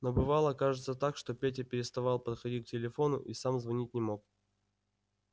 но бывало кажется так что петя переставал подходить к телефону и сам звонить не мог